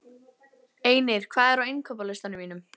Einir, hvað er á innkaupalistanum mínum?